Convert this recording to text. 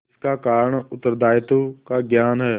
इसका कारण उत्तरदायित्व का ज्ञान है